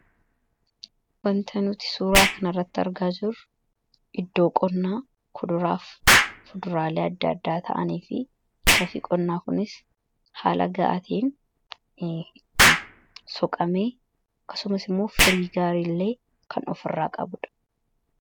Wanta nuti suuraa kan irratti argaa jirru iddoo qonnaa kuduraafi fuduraalee adda addaa ta'anii fi laftii qonnaa kunis haala ga'aa ta'een itti soqamee akkasumas immoo firii gaarii illee kan of irraa qabuudha.